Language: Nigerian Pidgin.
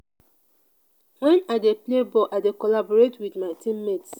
wen i dey play ball i dey collaborate wit my team mates.